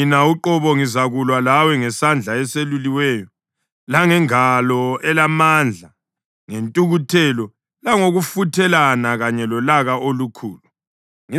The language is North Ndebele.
Mina uqobo ngizakulwa lawe ngesandla eseluliweyo langengalo elamandla ngentukuthelo langokufuthelana kanye lolaka olukhulu.